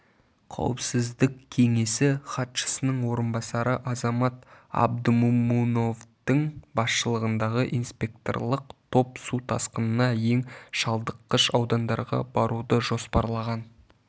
қауіпсіздік кеңесі хатшысының орынбасары азамат абдымомуновтың басшылығындағы инспекторлық топ су тасқынына ең шалдыққыш аудандарға баруды жоспарлаған